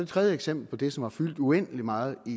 tredje eksempel på det som har fyldt uendelig meget i